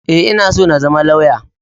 E, ina so na zama lauya.